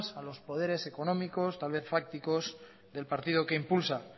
a los poderes económicos poderes fácticos del partido que impulsa